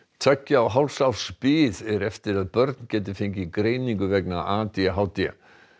tveggja og hálfs árs bið er eftir að börn geti fengið greiningu vegna a d h d